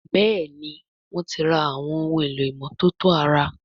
Béèni wón tí rà Àwọn ohun èlò ìmọ́tótó ara.